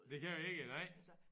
Det kan vi ikke nej